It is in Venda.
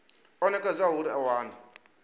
o nekedzwaho uri a wane